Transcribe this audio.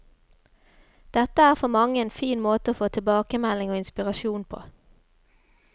Dette er for mange en fin måte å få tilbakemelding og inspirasjon på.